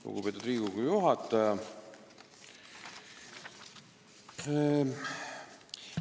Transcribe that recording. Lugupeetud Riigikogu juhataja!